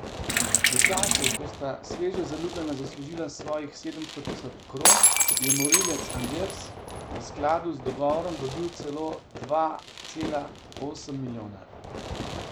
V času, ko sta sveže zaljubljena zaslužila svojih sedemsto tisoč kron, je Morilec Anders v skladu z dogovorom dobil dva cela osem milijona.